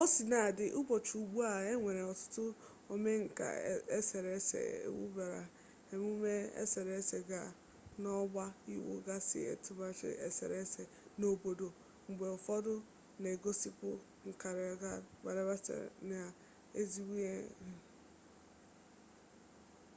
kaosinadị ụbọchị ugbu a e nwere ọtụtụ omenka eserese ewubere emume eserese ga n'ọgba iwu gasị etemụagba eserese n'ọnọdụ a mgbe ụfọdụ na-egosipụta nkaọrụ karịa igosi ụmụ taagị ezighi ezi